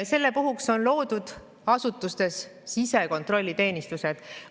Selle puhuks on loodud asutustes sisekontrolliteenistused.